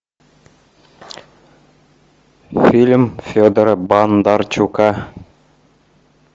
фильм федора бондарчука